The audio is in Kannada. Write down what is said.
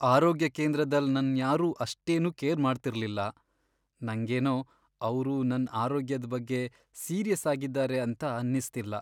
ಆರೋಗ್ಯ ಕೇಂದ್ರದಲ್ ನನ್ ಯಾರು ಅಷ್ಟೇನು ಕೇರ್ ಮಾಡ್ತಿರ್ಲಿಲ್ಲ ನಂಗೇನೋ ಅವ್ರು ನನ್ ಆರೋಗ್ಯದ್ ಬಗ್ಗೆ ಸೀರಿಯಸ್ ಆಗಿದ್ದಾರೆ ಅಂತ ಅನ್ನಿಸ್ತಿಲ್ಲ.